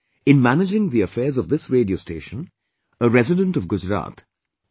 In managing the affairs of this radio station, a resident of Gujarat M